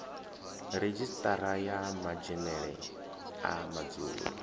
redzhisiṱara ya madzhenele a madzulo